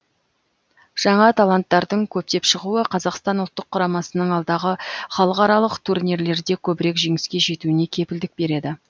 жаңа таланттардың көптеп шығуы қазақстан ұлттық құрамасының алдағы халықаралық турнирлерде көбірек жеңіске жетуіне кепілдік береді